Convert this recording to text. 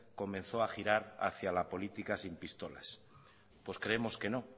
comenzó a girar hacia la política sin pistolas pues creemos que no